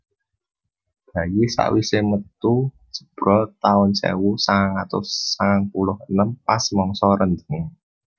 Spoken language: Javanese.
Bayi sak wise metu jebrol taun sewu sangang atus sangang puluh enem pas mangsa rendheng